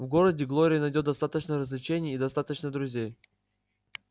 в городе глория найдёт достаточно развлечений и достаточно друзей